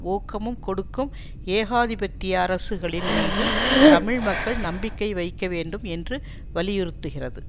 ஊக்கமும் கொடுக்கும் ஏகாதிபத்திய அரசுகளின் மீது தமிழ் மக்கள் நம்பிக்கை வைக்க வேண்டும் என்று வலியுறுத்துகிறது